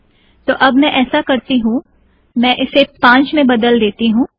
तो अब मैं ऐसा करती हूँ - मैं इसे पांच मैं बदल देती हूँ